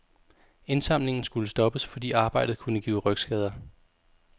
Indsamlingen skulle stoppes, fordi arbejdet kunne give rygskader.